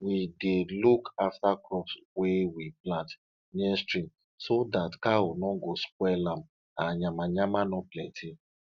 we dey look after crops wey we plant near stream so that cows no go spoil am and yamayama no plenty